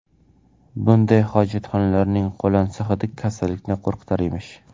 Bunday hojatxonalarning qo‘lansa hidi kasallikni qo‘rqitar emish.